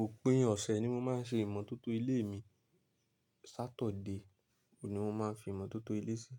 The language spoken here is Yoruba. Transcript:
Òpin ọ̀sẹ̀ ni mo máa ń ṣe ìmọ̀tótó ilé mi. Saturday ni mo máa ń fi ìmọ̀tótó ilé sí.